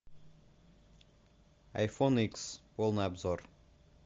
айфон икс полный обзор